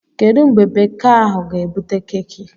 Kedụ mgbe beka ahụ ga-ebute keeki?